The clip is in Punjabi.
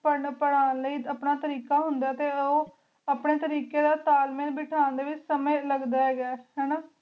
ਪੈਂਦਾ ਪਰ੍ਹਾਂ ਲੈ ਕੋਈ ਤੇਰਿਕਾ ਹੁੰਦਾ ਆਯ ਟੀ ਓਆਪ੍ਨ੍ਯਨ ਤੇਰਿਕ੍ਯ ਦਾ ਭ੍ਥਨ ਵੇਚ ਕੋਈ ਸੰਯੰ ਦਾ ਲਗਦਾ ਹੀ ਗਾ